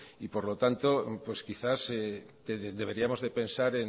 y por lo tanto pues quizás deberíamos de pensar